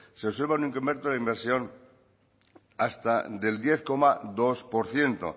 se observa un incremento de la inversión hasta del diez coma dos por ciento